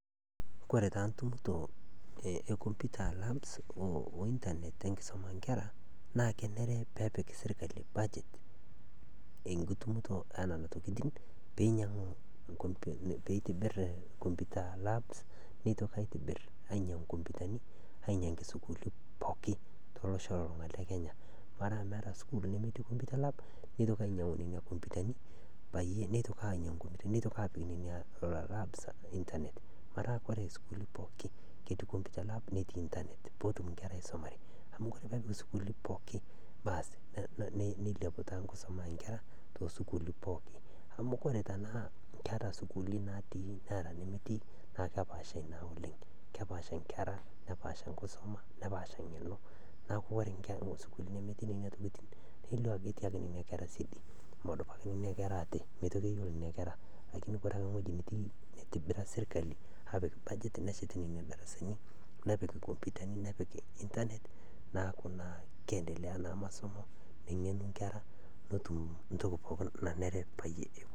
Kore taa ekomputa Kesidai oleng enchorota nachor ngotenye nkerai amu kore naa nkerai keyeu, kore sesen le nkerai kenana naa kekumok nyamaliritin naatum. Kore taa iltikana otiuaa ilmaasae otiuwaa ilo tokitin oojing looshori ,oojing nkejek nejing nkaik, nejing' sunta, naaku kore ngotonye nenare pootum atoshora nkerai enye ,atoshora nkaik, atoshora nkejek, neshor nkoriong ,neshor ndapi oonkejek, weji pooki, neel akinyi, kore peel newen achor, achor, achor sesen pooki, naa kesupat naa nkerai osesen, meitoki atum nenai moyaritin, meitoki atum lelo kutiti iltikana, meitoki atum lelo kutiti ooshori, naa inakata naa esupatu nkerai osesen, naaku kesupat oleng teneshor ngotenye nkerai awen ale ashorchor ewen era kinyi, naaku kore abaki echor ngotenye naa kejingaro ninye o kerai enye . Kore ina nachor nkera enye naa kesham nkerai amu kore sesen le nkerai keyeu ninye neitaasi neitomoki nchorota ake iyie amu keewen naa enana, naa inyakata egolu loik nesupatu.